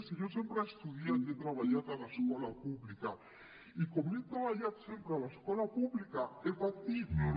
si jo sempre he estudiat i he treballat a l’escola pública i com he treballat sempre a l’escola pública he patit